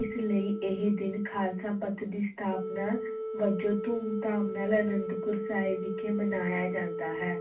ਇਸ ਲਈ ਇਹ ਦਿਨ ਖ਼ਾਲਸਾ ਪੰਥ ਦੀ ਸਥਾਪਨਾ ਵਜੋਂ ਧੂਮ-ਧਾਮ ਨਾਲ ਅਨੰਦਪੁਰ ਸਾਹਿਬ ਵਿਖੇ ਮਨਾਇਆ ਜਾਂਦਾ ਹੈ।